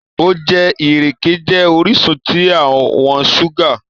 Òjẹ̀ irẹke̩ jẹ́ oriṣun tí àwọn ṣúgà.